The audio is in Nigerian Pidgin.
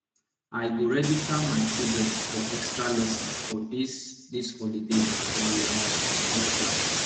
i go register my children for extralesson for dis dis holiday e um get why